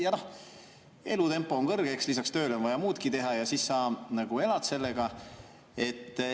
Elutempo on, lisaks tööle on vaja muudki teha ja siis sa elad selle.